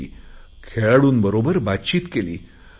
खेळाडूंबरोबर प्रशिक्षकांबरोबर त्यांनी संवाद साधला आहे